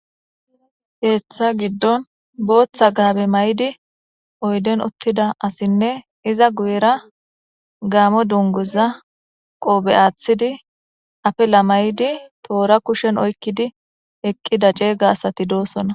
heeththa giddon booththa gaabe may7di oyden uttida asinne iza guyera gaamo dunguza qoobe aaththidi afe la may7di toora kushen oykkidi eqqida ceeyga asati doosona